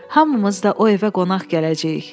Hamımız da o evə qonaq gələcəyik.